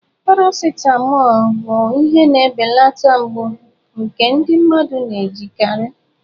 Paracitamọ bụ ihe na-ebelata mgbu nke ndị mmadụ na-ejikarị.